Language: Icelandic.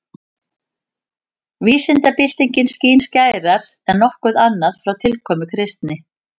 Vísindabyltingin skín skærar en nokkuð annað frá tilkomu kristni.